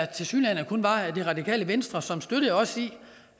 tilsyneladende kun var radikale venstre som støttede os i